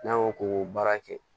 N'an y'o k'o baara kɛ